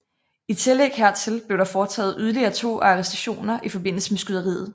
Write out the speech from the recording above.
I tillæg hertil blev der foretaget yderligere to arrestationer i forbindelse med skyderiet